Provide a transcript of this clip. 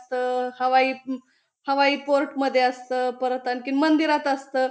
अस हवाई हवाई पोर्ट मध्ये असत परत आणखीन मंदिरात असत.